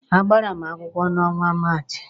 A gbara m akwụkwọ n'ọnwa Maachị.